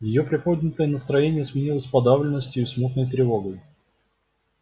её приподнятое настроение сменилось подавленностью и смутной тревогой